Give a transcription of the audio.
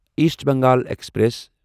East Bengal express